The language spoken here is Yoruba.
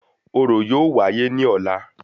Orò yóò wáyé ní ọlá